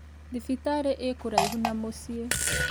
Thibitarĩ ĩ kũraihu na mũciĩ